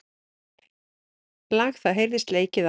Lag það heyrist leikið á.